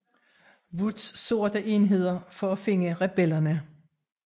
Woods sorte enheder for at finde rebellerne